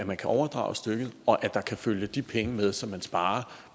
man kan overdrage stykket og at der kan følge de penge med som man sparer